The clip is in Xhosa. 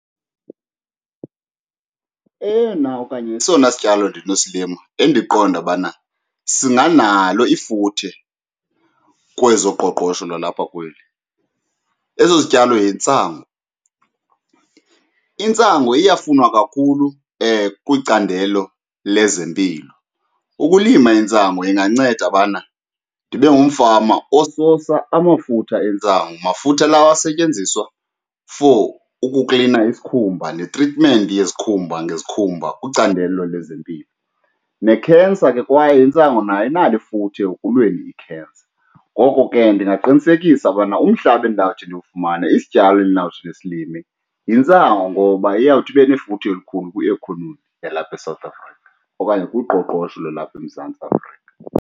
Eyona okanye esona sityalo ndinosilima endiqonda ubana singanalo ifuthe kwezoqoqosho lalapha kweli eso sityalo yintsangu. Intsangu iyafunwa kakhulu kwicandelo lezempilo. Ukulima intsangu inganceda ubana ndibe ngumfama osusa amafutha entsangu, mafutha lawo asetyenziswa for ukuklina isikhumba netritimenti yezikhumba ngezikhumba kwicandelo lezempilo, nekhensa ke kwaye intsangu nayo inalo ifuthe ekulweni ikhensa. Ngoko ke ndingaqinisekisa ubana umhlaba endawuthi ndiwufumane isityalo endawuthi ndisilime yintsangu ngoba iyawuthi ibe nefuthe elikhulu kwi-economy yalapha eSouth Africa okanye kuqoqosho lwalapha eMzantsi Afrika.